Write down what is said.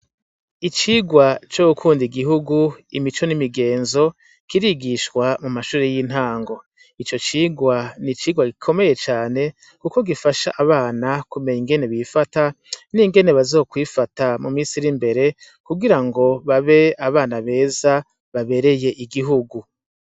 Icirwa co gukunda igihugu imico n'imigenzo kirigishwa mu mashuri y'intango ico cirwa n'icirwa gikomeye cane kuko gifasha abana ku menya uko bifata ningene bazo kwifata mu minsi iri imbere ku girango babe abana beza babreye igihugu.